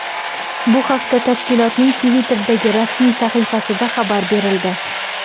Bu haqda tashkilotning Twitter’dagi rasmiy sahifasida xabar berildi .